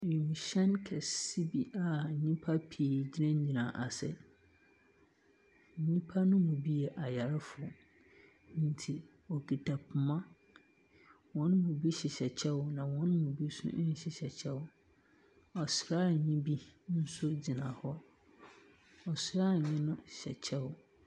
Wiemhyɛn kɛse bi a nnipa pii gyinagyina ase. Nnipa no mu bi yɛ ayarefo. Nti, wɔkita poma. Wɔn mu bi hyehyɛ kyɛw na wɔn mu bi nso nhyehyɛ kyɛw. Asrani nso gyina hɔ. Asrani no hyɛ kyɛw.